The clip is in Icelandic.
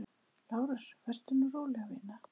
LÁRUS: Vertu nú róleg, vina.